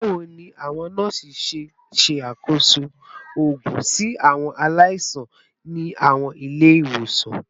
Bawo ni awọn nọọsi ṣe nṣakoso oogun si awọn alaisan ni awọn ile-iwosan?